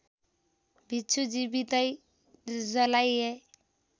भिक्षु जीवितै जलाइए